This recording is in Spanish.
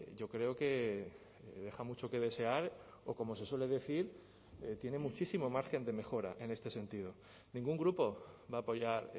yo creo que deja mucho que desear o como se suele decir tiene muchísimo margen de mejora en este sentido ningún grupo va a apoyar